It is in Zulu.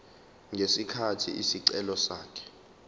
ngesikhathi isicelo sakhe